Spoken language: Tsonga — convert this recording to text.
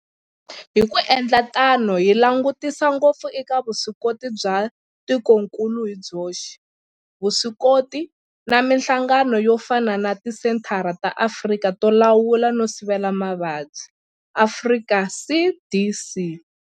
Hi ku endla tano hi langutisa ngopfu eka vuswikoti bya tikokulu hi byoxe, vuswikoti na mihlangano yo fana na Tisenthara ta Afrika to Lawula no Sivela Mavabyi, Afrika CDC.